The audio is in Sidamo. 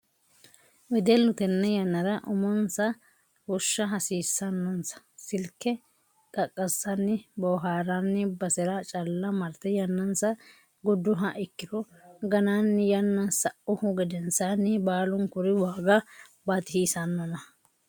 Wedellu tene yannara umonsa fushsha hasiisanonsa silke qaqasani booharanni basera calla marte yannansa guduha ikkiro gananni yanna sauhu gedensanni baalunkuri waaga baatisiisanonna.